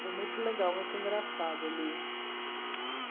Foi muito legal, muito engraçado ele.